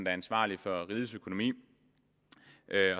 er ansvarlig for rigets økonomi